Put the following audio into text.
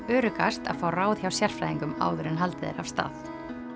öruggast að fá ráð hjá sérfræðingum áður en haldið er af stað